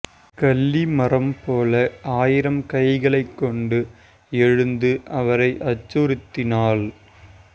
கள்ளி மரம்போல ஆயிரம் கைகளைக் கொண்டு எழுந்து அவரை அச்சுறுத்தினாள்